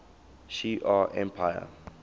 shi ar empire